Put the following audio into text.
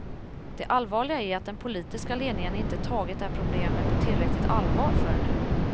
Det allvarliga är att den politiska ledningen inte tagit det här problemet på tillräckligt allvar förrän nu.